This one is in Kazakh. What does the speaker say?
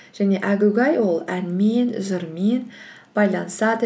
және әгугай ол әнмен жырмен байланысады